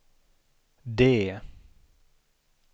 D